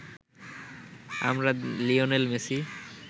আমরা Lionel Messi